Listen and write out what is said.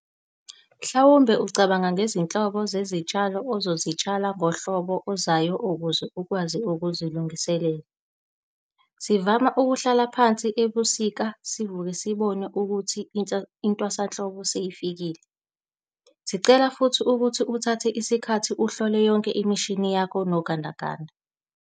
Mhlawumbe ungacabanga ngezinhlobo zezitshalo ozozitshala ngohlobo ozayo ukuze ukwazi ukuzilungisela - sivama ukuhlala phansi ebusika sivuka sibona ukuthi intwasanhlobo seyifikile. Sicela futhi ukuthi uthathe isikhathi uhlole yonke imishini yakho nogandaganda.